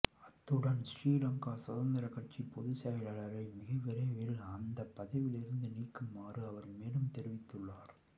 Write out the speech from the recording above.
அத்துடன் ஶ்ரீலங்கா சுதந்திர கட்சியின் பொதுச் செயலாளரை மிக விரைவில் அந்த பதவியில் இருந்து நீக்குமாறும் அவர் மேலும் தெரிவித்துள்ளார்